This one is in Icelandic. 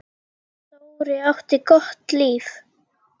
Dóri átti gott líf.